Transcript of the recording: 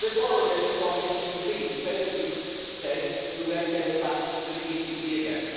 They borrowed it from the ECB to pay the Greek state who then gave it back to the ECB again.